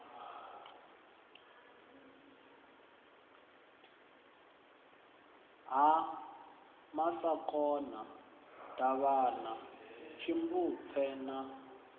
ha masakona davhana tshimbupfe na